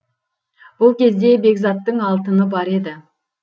бұл кезде бекзаттың алтыны бар еді